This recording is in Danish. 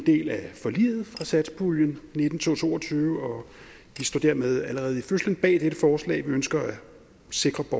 del af forliget fra satspuljen nitten til to og tyve og vi står dermed allerede i fødslen bag dette forslag vi ønsker at sikre at